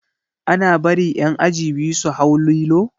Ana bari ƴan aji biyu su hau lilo?